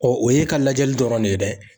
Ɔ o ye e ka lajɛli dɔrɔn ne ye dɛ.